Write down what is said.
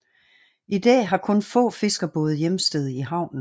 I dag har kun få fiskerbåde hjemsted i havnen